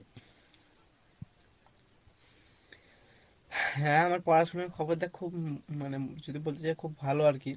হ্যাঁ আমার পড়াশুনো খবর দেখ খুব মানে যদি বলতে চাই খুব ভালো আরকি,